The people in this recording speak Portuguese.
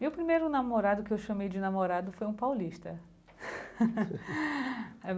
Meu primeiro namorado, que eu chamei de namorado, foi um paulista.